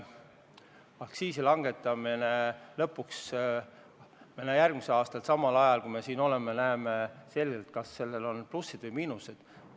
Kui me aktsiisi järgmisel aastal samal ajal lõpuks langetame, eks me siin näeme, kas sellel on plussid või miinused.